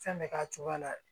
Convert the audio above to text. Fɛn bɛ k'a cogo la